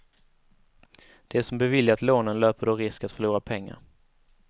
De som beviljat lånen löper då risk att förlora pengar.